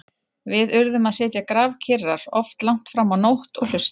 Við urðum að sitja grafkyrrar, oft langt fram á nótt- og hlusta.